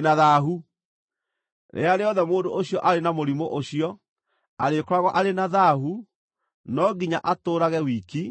Rĩrĩa rĩothe mũndũ ũcio arĩ na mũrimũ ũcio, arĩkoragwo arĩ na thaahu. No nginya atũũrage wiki,